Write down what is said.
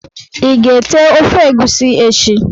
Iga ete ofe egusi echi?